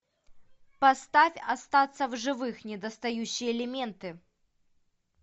поставь остаться в живых недостающие элементы